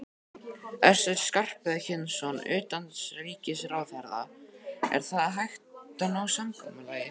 Össur Skarphéðinsson, utanríkisráðherra: Er þá hægt að ná samkomulagi?